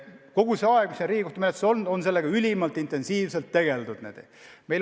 Kogu see aeg, mis see on Riigikohtu menetluses olnud, on sellega ülimalt intensiivselt tegeldud.